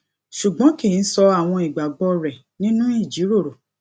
ṣùgbọn kì í sọ àwọn ìgbàgbọ rẹ nínú ìjìrórò